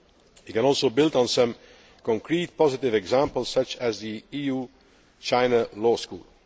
We can also build on some concrete positive examples, such as the EU China law school.